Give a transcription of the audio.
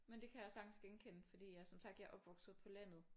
Men det kan jeg sagtens genkende fordi jeg som sagt jeg er opvokset på landet